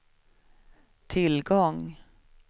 tillgång